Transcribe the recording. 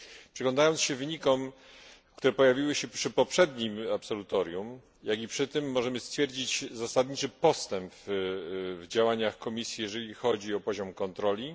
Przyglądając się wynikom, które pojawiły się przy poprzednim absolutorium, jak i przy tym, możemy stwierdzić zasadniczy postęp w działaniach Komisji, jeżeli chodzi o poziom kontroli.